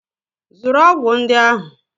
Zụrụ ọgwụ ndị ahụ!